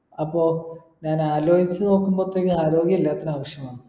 അപ്പൊ ഞാൻ ആലോയ്ച്ചു നോക്കുമ്പത്തേക്ക് ആരോഗ്യം എല്ലാത്തിനും ആവശ്യമാണ്